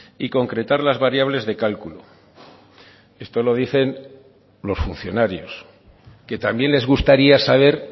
y concretar las variables de cálculo esto lo dicen los funcionarios que también les gustaría saber